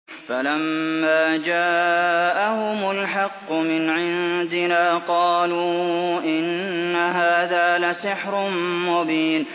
فَلَمَّا جَاءَهُمُ الْحَقُّ مِنْ عِندِنَا قَالُوا إِنَّ هَٰذَا لَسِحْرٌ مُّبِينٌ